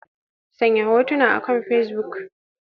Sanya hotunan akan Facebook.